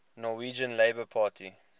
norwegian labour party